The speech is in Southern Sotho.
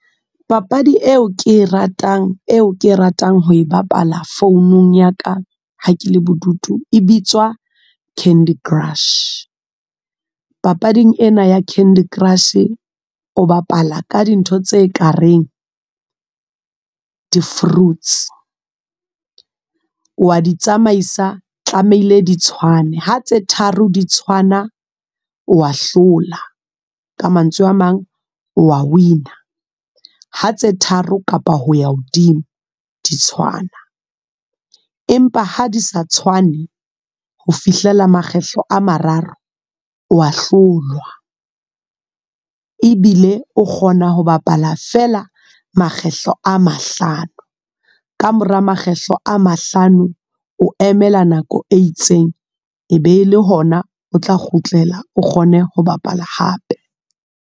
Papadi eo ke e ratang, eo ke e ratang ho e bapala founung ya ka. Ha ke le bodutu, e bitswa Candy Crush. Papading ena ya Candy Crush. O bapala ka dintho tse kareng, di-fruits, wa di tsamaisa tlamehile di tshwane. Ha tse tharo di tshwana wa hlola, ka mantswe a mang wa win-a. Ha tse tharo kapa ho ya hodimo di tshwana. Empa ha di sa tshwane, ho fihlela makgetlo a mararo wa hlolwa. Ebile o kgona ho bapala fela kgetlo a mahlano. Ka mora makgetlo a mahlano, o emela nako e itseng. E be le hona o tla kgutlela, o kgone ho bapala hape.